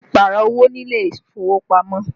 Ó lè Pààrọ̀ owó ní ilé ìfowópamọ́